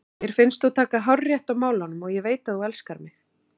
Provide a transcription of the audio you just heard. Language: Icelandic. Mér finnst þú taka hárrétt á málunum og ég veit að þú elskar mig.